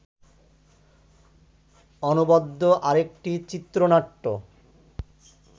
অনবদ্য আরেকটি চিত্রনাট্য